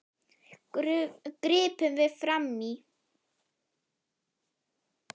gripum við fram í.